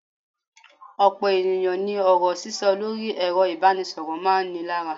Ọ̀pọ̀ ènìyàn ní ọ̀rọ̀ sísọ lórí ẹ̀rọ ìbánisọ̀rọ̀ máa ń ni lára.